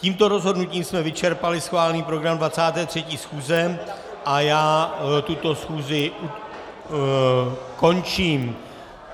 Tímto rozhodnutím jsme vyčerpali schválený program 23. schůze a já tuto schůzi končím.